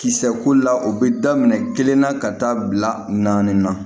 Kisɛ ko la o bɛ daminɛ kelen na ka taa bila naani na